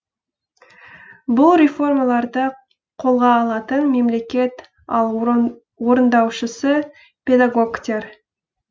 бұл реформаларды қолға алатын мемлекет ал орындаушысы педагогтер